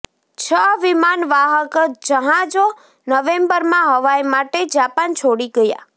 છ વિમાનવાહક જહાજો નવેમ્બરમાં હવાઈ માટે જાપાન છોડી ગયા